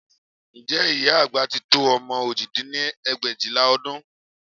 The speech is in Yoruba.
Ǹjẹ́ ìyá àgbà tí tó ọmọ òjì dín ní ẹgbẹ̀éjìlá ọdún